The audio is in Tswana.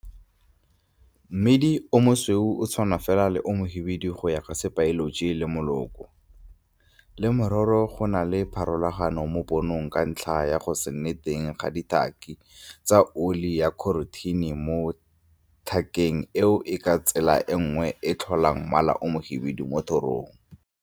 Mmidi o mosweu o tshwana fela le o mohibidu go ya ka sebaeloji le moloko, genetical, le mororo go na le pharologano mo ponong ka ntlha ya go se nne teng ga ditaki tsa oli ya kherothine mo tlhakeng eo e ka tsela nngwe e tlholang mmala o mohibidu mo thorong.